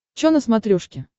чо на смотрешке